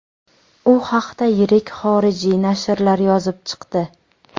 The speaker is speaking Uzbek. U haqda yirik xorijiy nashrlar yozib chiqdi.